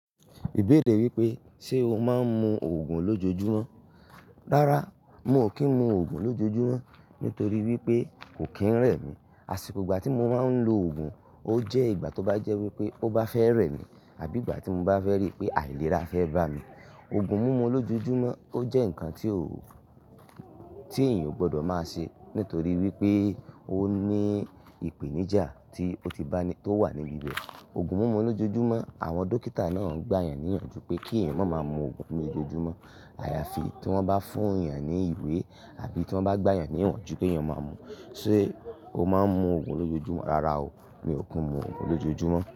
Ìbéèrè wípé, ṣe o máa ń mu ogùn lójojúmọ́? Rárá, mi ò kí ń mu ògùn lójojúmọ́ nítorí wípé kò kí ń rẹ̀ mí. Àṣìkò ìgbà tí mo máa ń lo ògùn, ó jẹ́ ìgbà tó bá jẹ́ wípé ó bá fẹ́ rẹ̀ mí àbí ìgbà tí mo bá fẹ́ rí pé àìlera fẹ́ bá mi. Ògùn mumu lójojúmọ́ ó jẹ́ nǹkan tí ò, tí èèyàn ò gbọ́dọ̀ máa ṣe nítorí wípé ó ní ìpènijà tí ó ti bá ní tó wà níbi bẹ́ẹ̀. Ògùn mumu lójojúmọ́, àwọn dókítà náà gbà yàn níyànjú pé kí èèyàn máa ma mu ògùn lójojúmọ́. Àyàfi tí wọ́n bá fún èèyàn ní ìwé àbí tí wọ́n bá gbà yàn níyànjú ké èèyàn máa mu. Sé o máa ń mu ògùn lójojúmọ́? Rárá o, mi ò kí ń mu ògùn lójojúmọ́.